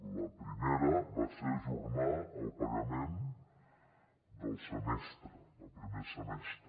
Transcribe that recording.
la primera va ser ajornar el pagament del semestre del primer semestre